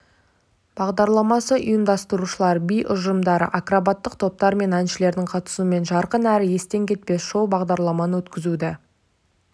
бағдарламасы ұйымдастырушылар би ұжымдары акробаттық топтар мен әншілердің қатысуымен жарқын әрі естен кетпес шоу-бағдарламаны өткізуді